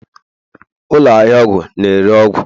ụlọ ahịa ọgwụ na-ere ọgwụ